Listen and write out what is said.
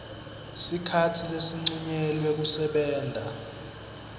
sikhatsi lesincunyelwe kusebenta